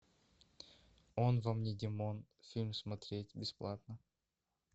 он вам не димон фильм смотреть бесплатно